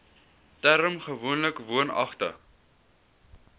term gewoonlik woonagtig